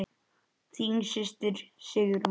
Þín systir Sigrún.